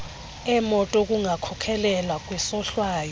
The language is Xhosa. emoto kungakhokhelela kwisohlwayo